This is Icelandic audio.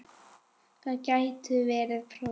Það gætu verið prótín.